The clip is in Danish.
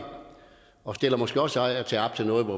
og vi stiller måske også af og til op til noget